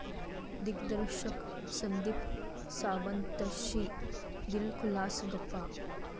दिग्दर्शक संदीप सावंतशी दिलखुलास गप्पा